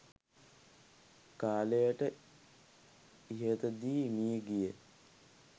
කාලයකට ඉහතදී මිය ගියා.